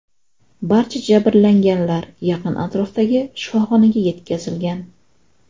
Barcha jabrlanganlar yaqin atrofdagi shifoxonaga yetkazilgan.